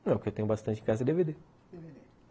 Não, porque o que tenho bastante em casa dê vê dê.